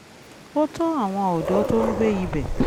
ó tọ́ àwọn ọ̀dọ́ tó ń gbé ibẹ̀